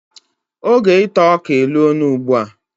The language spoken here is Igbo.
Oge ita ọka elo na ugbua